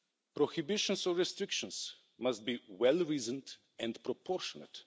Prohibitions or restrictions must be well reasoned and proportionate.